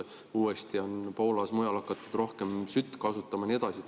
Uuesti on Poolas ja mujal hakatud rohkem sütt kasutama ja nii edasi.